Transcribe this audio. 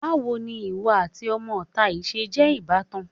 Báwo ni ìwọ àti ọmọ-ìta yìí ṣe jẹ́ ìbátan?